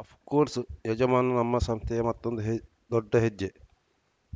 of course ಯಜಮಾನ ನಮ್ಮ ಸಂಸ್ಥೆಯ ಮತ್ತೊಂದು ದೊಡ್ಡ ಹೆಜ್ಜೆ